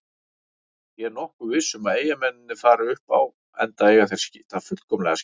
Ég er nokkuð viss um að Eyjamennirnir fari upp enda eiga þeir það fullkomlega skilið.